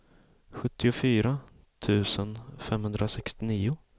sjuttiofyra tusen femhundrasextionio